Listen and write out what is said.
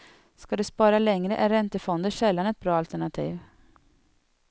Ska du spara längre är räntefonder sällan ett bra alternativ.